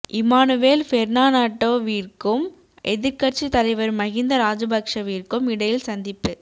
Emmanuel பெர்னாணட்டோவிற்கும் எதிர்கட்சி தலைவர் மகிந்த ராஜபக்சவிற்கும் இடையில் சந்திப்பு